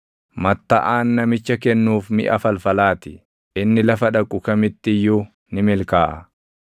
Mattaʼaan namicha kennuuf miʼa falfalaa ti; inni lafa dhaqu kamitti iyyuu ni milkaaʼa.